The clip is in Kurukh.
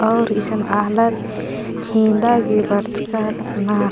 और ईसन आलर हेंदा गे बरचका रअनर।